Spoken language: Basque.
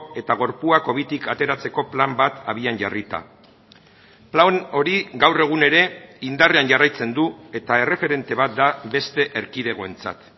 eta gorpuak hobitik ateratzeko plan bat abian jarrita plan hori gaur egun ere indarrean jarraitzen du eta erreferente bat da beste erkidegoentzat